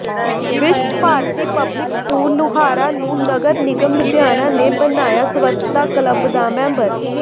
ਵਿਸ਼ਵ Bharati public school Luhara ਨੰੂ ਨਗਰ ਨਿਗਮ ਲੁਧਿਆਣਾ ਨੇ ਬਣਾਇਆ ਸਵੱਛਤਾ ਕਲੱਬ ਦਾ ਮੈਂਬਰ